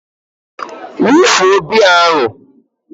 wufuo biya ahụ!